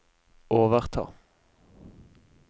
overta